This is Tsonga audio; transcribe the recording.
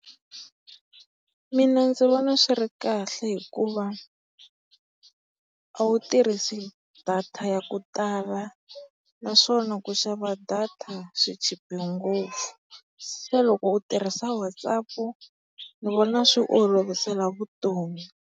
Mina ndzi vona swi ri kahle hikuva a wu tirhisa data ya ku tala naswona ku xava data swi chipe ngopfu. Se loko u tirhisa WhatsApp, ni vona swi olovisa vutomi.